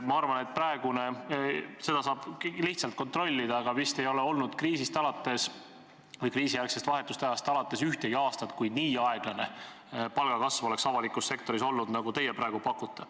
Ma arvan, et – seda saab lihtsalt kontrollida – vist ei ole olnud kriisist või vahetult kriisijärgsest ajast alates ühtegi aastat, kui avalikus sektoris oleks olnud nii aeglane palgakasv, nagu teie praegu pakute.